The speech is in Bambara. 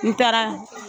N taara